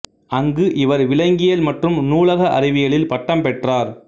அங்கு இவர் விலங்கியல் மற்றும் நூலக அறிவியலில் பட்டம் பெற்றார்